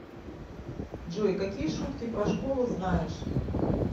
джой какие шутки про школу знаешь